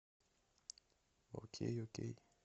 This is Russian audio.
окей окей